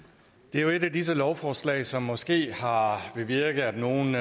er jo et af disse lovforslag som måske har bevirket at nogle